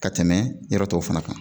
Ka tɛmɛ yɔrɔ tɔw fana kan